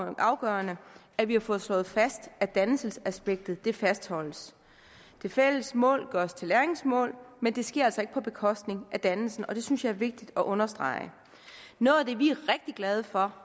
er afgørende at vi har fået slået fast at dannelsesaspektet fastholdes de fælles mål gøres til læringsmål men det sker altså ikke på bekostning af dannelsen og det synes jeg er vigtigt at understrege noget af det vi er rigtig glade for